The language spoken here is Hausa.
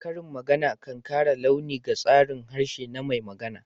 Karin magana kan kara launi ga tsarin harshe na mai magana.